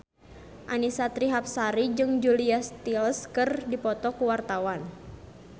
Annisa Trihapsari jeung Julia Stiles keur dipoto ku wartawan